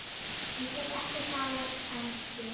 Ég get ekkert talað ensku.